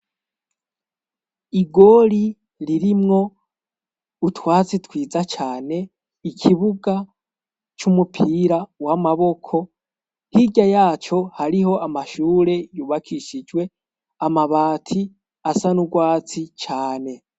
Igori ririmwo utwatsi twiza cane ikibuga c'umupira wamaboko hirya yaco hariho amashure yubakishijwe amabati asa n'urwatsi cane.